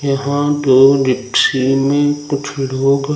यहां में कुछ लोग--